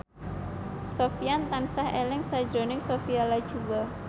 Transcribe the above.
Sofyan tansah eling sakjroning Sophia Latjuba